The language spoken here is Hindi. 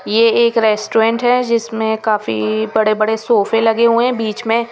ये एक रेस्टोरेंट है जिसमें काफी बड़े बड़े सोफे लगे हुए हैं बीच में--